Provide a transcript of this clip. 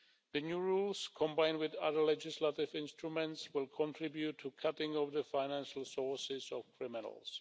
The new rules, combined with other legislative instruments, will contribute to a cutting of the financial sources of criminals.